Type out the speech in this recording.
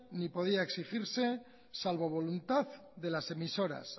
ni podía exigirse salvo voluntad de las emisoras